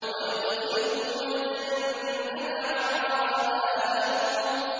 وَيُدْخِلُهُمُ الْجَنَّةَ عَرَّفَهَا لَهُمْ